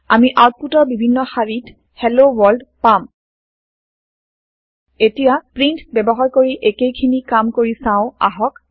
আমি আওতপুত ৰ বিভিন্ন শাৰি ত হেল্ল ৱৰ্ল্ড পাম এতিয়া প্ৰীন্ট ব্যৱহাৰ কৰি একেই খিনি কাম কৰি চাও আহক